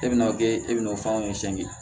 E bɛna kɛ e bɛna o fɛnw